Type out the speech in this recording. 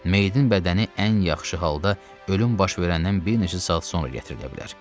Meyidin bədəni ən yaxşı halda ölüm baş verəndən bir neçə saat sonra gətirilə bilər.